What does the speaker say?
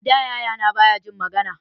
Ada yaya na baya jin magana